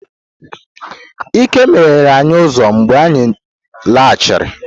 Ike meghere anyi uzo mgbe anyi laghachiri.